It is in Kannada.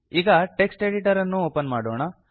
ಈಗ ಟೆಕ್ಸ್ಟ್ ಎಡಿಟರ್ ಅನ್ನು ಓಪನ್ ಮಾಡೋಣ